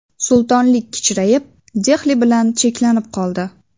Sultonlik kichrayib, Dehli bilan cheklanib qoldi.